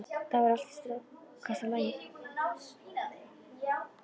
Þá væri allt í stakasta lagi.